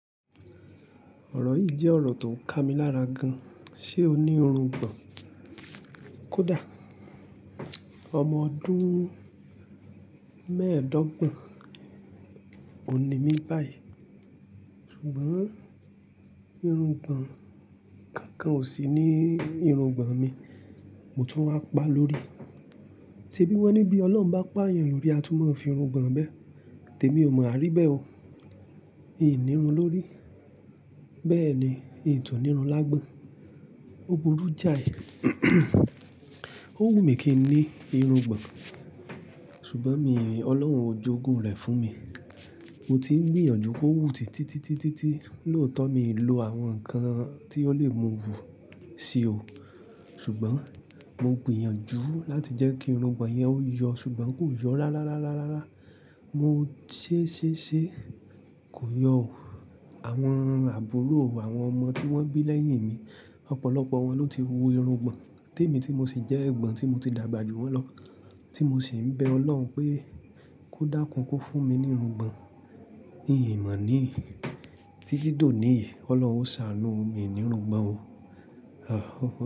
Ọ̀rọ̀ yìí jẹ́ ọ̀rọ̀ tó n kà mí lára gan. Ṣé o ní irungbọ̀n? Kódà ọmọ ọdún mẹ́ẹ̀dógbon, òún ní mi báyìí. Ṣùgbọ́n irungbọ̀n kankan ò sí ní irungbọ̀n mi, mo tún wá pa lórí. Se bi wọ́n ní bí Ọlọ́run bá pà yàn lórí, a tún máa fi irungbọ̀n bẹ́. Tèmi ò mọ wàríbẹ̀ ọ. Í nírún lórí. Bẹ́ẹ̀ ni, í tún nírún lágbọ́n. Ó burú jáì. Ó wù mí kí n ní irungbọ̀n, ṣùgbọ́n mi, Ọlọ́run ò jogún rẹ̀ fún mi. Mo ti ń gbìyànjú kó wù títítítí lóòótọ́ mi ì lo àwọn nǹkan tí ó lè mú wù sí o. Ṣùgbọ́n mo gbìyànjú láti jẹ́ kí irungbọ̀n yẹn ó yọ ṣùgbọ́n kò yọ rárá rárá rá. Mo sé sé sé kò yọ o. Àwọn àbúrò, àwọn ọmọ tí wọ́n bí lẹ́yìn mi, ọ̀pọ̀lọpọ̀ wọn ló ti hu irungbọ̀n. Tèmi tí mo sì jẹ́ ẹ̀gbọ́n, tí mo ti dàgbà ju wọ́n lọ, tí mo sì ń bẹ Ọlọ́run pé kó dákún kó fún mi ní irungbọ̀n, ì mọ̀ ní. Títí dòní, Ọlọ́run ó ṣàánú mi ní irungbọ̀n o.